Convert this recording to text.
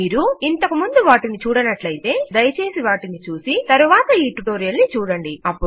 మీరు ఇంతకు ముందు వాటిని చూడనట్లైతే దయచేసి వాటిని చూసి తరువాత ఈ టుటోరియల్ ని చూడండి